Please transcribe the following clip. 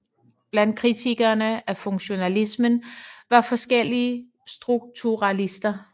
Blandt kritikerne af funktionalismen var forskellige strukturalister